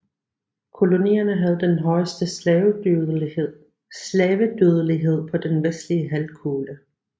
Kolonien havde den højeste slavedødelighed på den vestlige halvkugle